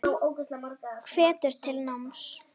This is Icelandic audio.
Hvetur til náms.